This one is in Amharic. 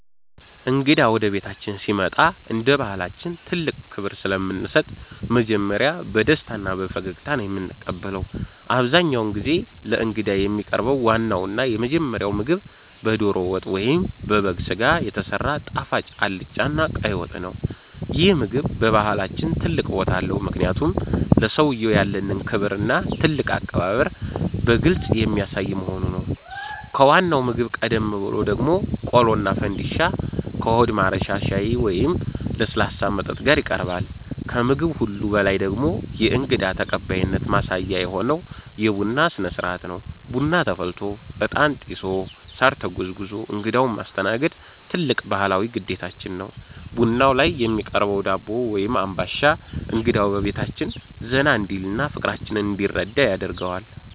እንግዳ ወደ ቤታችን ሲመጣ እንደ ባሕላችን ትልቅ ክብር ስለምንሰጥ መጀመሪያ በደስታና በፈገግታ ነው የምንቀበለው። አብዛኛውን ጊዜ ለእንግዳ የሚቀርበው ዋናውና የመጀመሪያው ምግብ በደሮ ወጥ ወይም በበግ ሥጋ የተሰራ ጣፋጭ አልጫና ቀይ ወጥ ነው። ይህ ምግብ በባሕላችን ትልቅ ቦታ አለው፤ ምክንያቱም ለሰውየው ያለንን ክብርና ትልቅ አቀባበል በግልጽ የሚያሳይ በመሆኑ ነው። ከዋናው ምግብ ቀደም ብሎ ደግሞ ቆሎና ፈንድሻ ከሆድ ማረሻ ሻይ ወይም ለስላሳ መጠጥ ጋር ይቀርባል። ከምግብ ሁሉ በላይ ደግሞ የእንግዳ ተቀባይነት ማሳያ የሆነው የቡና ሥነ-ሥርዓት ነው። ቡና ተፈልቶ፣ ዕጣን ጢሶ፣ ሳር ተጎዝጉዞ እንግዳውን ማስተናገድ ትልቅ ባሕላዊ ግዴታችን ነው። ቡናው ላይ የሚቀርበው ዳቦ ወይም አምባሻ እንግዳው በቤታችን ዘና እንዲልና ፍቅራችንን እንዲረዳ ያደርገዋል።